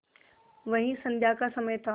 वही संध्या का समय था